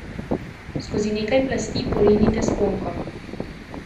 Skozi nekaj plasti porinite sponko.